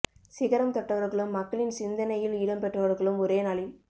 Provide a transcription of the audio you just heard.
சிகரம் தொட்டவர்களும் மக்களின் சிந்தனையில் இடம் பெற்றவர்களும் ஒரே நாளில்